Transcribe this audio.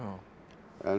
en